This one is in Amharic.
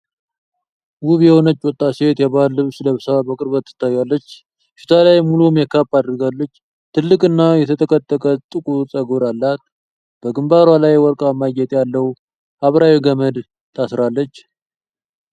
ውብ የሆነች ወጣት ሴት የባህል ልብስ ለብሳ በቅርበት ትታያለች። ፊቷ ላይ ሙሉ ሜካፕ አድርጋለች፤ ትልቅ እና የተጠቀጠቀ ጥቁር ፀጉር አላት። በግንባሯ ላይ ወርቃማ ጌጥ ያለው ሐምራዊ ገመድ ታስራለች።